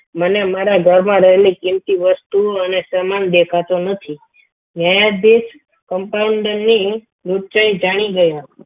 મને મારા ઘરમાં રહેલી કિમતી વસ્તુઓ અને સામાન દેખાતો નથી ન્યાયાધીશ એ compounder ની વિચાર જાણી ગયો હતો.